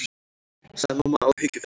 sagði mamma áhyggjufull.